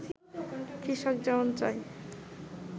কৃষক যেমন চায়